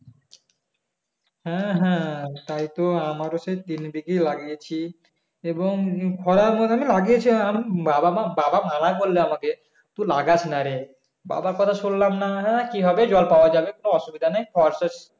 হ্যাঁ হ্যাঁ তাইতো আমার সেই তিনদিকেই লাগিয়েছি এবং খরার মধ্যে না লাগিয়েছিলাম বাবা মা বাবা মানা করলো আমাকে তুই লাগাসনা রে বাবার কথা শুনলাম না না না কি হবে জল পাওয়া যাবে কোনো অসুবিধা নেই .